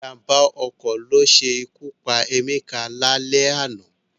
Ìjàm̀bá ọkọ̀ ló ṣe ikú pa Emeka lálẹ́ àná